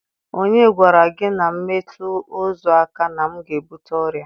Onye gwara gi na m metu ozu aka na m ga-ebute oria?